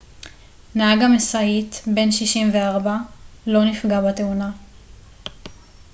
נהג המשאית בן 64 לא נפגע בתאונה